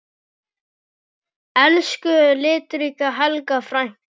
Elsku litríka Helga frænka.